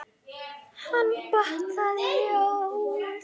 Hann batt það í ljóð.